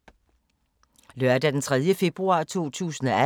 Lørdag d. 3. februar 2018